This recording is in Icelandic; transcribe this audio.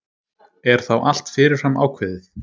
Er þá allt fyrirfram ákveðið?